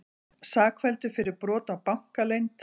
Sakfelldur fyrir brot á bankaleynd